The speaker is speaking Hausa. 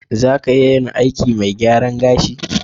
Za ka iya yin aikin mai gyaran gashi?